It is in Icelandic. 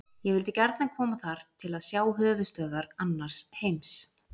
Ég vildi gjarnan koma þar til að sjá höfuðstöðvar annars heims.